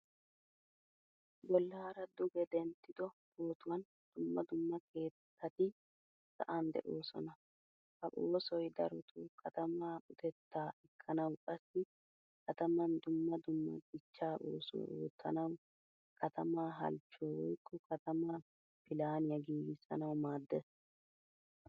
Bollaara duge denttido pootuwan dumma dumma keettatti sa'an de'oosona. Ha oosoy darottoo katama uttetta ekkanawu qassi kataman dumma dumma dichcha oosuwaa oottanawu katama halchchuwa woykko katama pilaaniya giigisanawu maaddees.